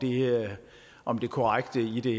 om det korrekte i det